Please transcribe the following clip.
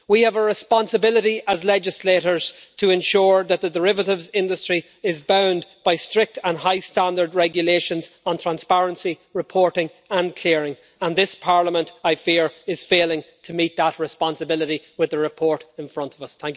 We have a responsibility as legislators to ensure that the derivatives industry is bound by strict and high standard regulations on transparency, reporting and clearing, and this Parliament, I fear, is failing to meet that responsibility with the report in front of us.